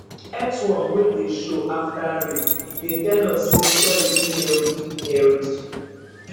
earthworm wey dey show after rain dey tell us say soil dey healthy healthy